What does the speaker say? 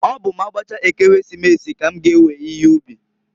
Ọ bụ m'agbachaa Ekeresimesi, k'm g'ewe ihe ubi.